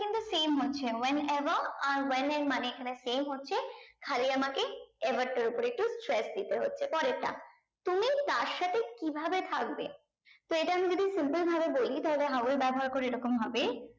same হচ্ছে when ever are well এর মানে এখানে same হচ্ছে খালি আমাকে ever টার উপরে একটু stretch দিতে হচ্ছে পরেরটা তুমি তার সাথে কি ভাবে থাকবে তো এটা আমি যদি simple ভাবে বলি তাহলে how এর ব্যাবহার করে এই রকম হবে